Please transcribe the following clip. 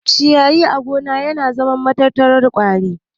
Ciyayi a gona na zama matattarar ƙwari